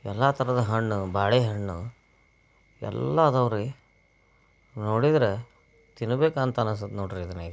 ಎಲ್ಲ ತರಹದ ಹಣ್ಣು. ಬಾಳೆಹಣ್ಣು. ಎಲ್ಲ ಅದಾವ್ ರೀ. ನೋಡಿದ್ರ ತಿನ್ನಬೇಕ ಅನಸ್ತೇತ ನೋಡ್ರಿ ಇದನ್ನ ಈಗ.